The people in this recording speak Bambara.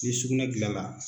Ki sugunɛ kilala.